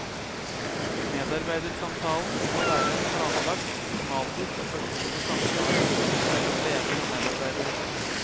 Medarbeidersamtalen skal være en planlagt, systematisk og personlig samtale mellom leder og medarbeider.